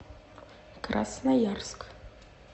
красноярск